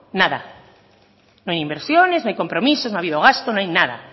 nada no hay inversiones no hay compromisos no ha habido gasto no hay nada